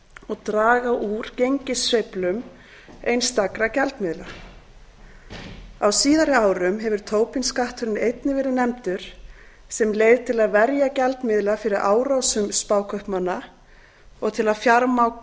og draga úr gengissveiflum einstakra gjaldmiðla á síðari árum hefur tobin skatturinn einnig verið nefndur sem leið til að verja gjaldmiðla fyrir árásum spákaupmanna og til að